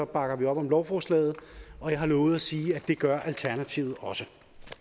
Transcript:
bakker vi op om lovforslaget og jeg har lovet at sige at det gør alternativet også